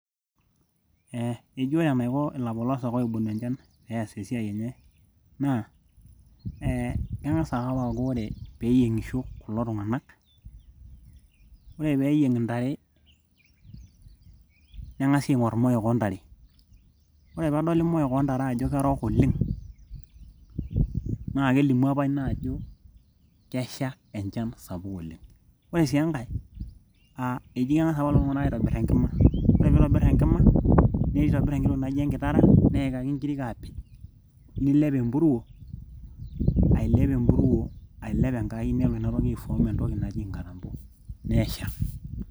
eh, eji ore enaiko ilapolosak oibonu enchan pees esiai enye naa eh keng'as ake apake aaku ore peyieng'isho kulo tung'anak ore peeyieng intare neng'asi aing'orr imoyok oontare ore peedoli imoyok oontare ajo kerook oleng naa kelimu apa ina ajo kesha enchan sapuk oleng ore sii enkae uh, eji keng'as apa lelo tung'anak aitobirr enkima ore piitobirr enkima neitobirr enkiti tokui naijo enkitara neikaki inkirik aapej nilep empuruo ailep empuruo ailep enkai nelo inatoki aefom entoki naji inkatambo nesha.